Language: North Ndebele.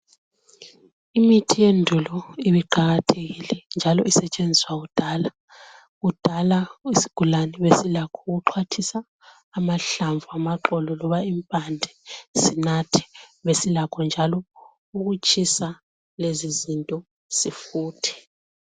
Imithi yendulo ibiqakathekile njalo isetshenziswa kudala. Kudala isigulane besilakho ukuxhwathisa amahlamvu amaxolo loba impande sinathe besilakho njalo ukutshisa lezizinto sifuthe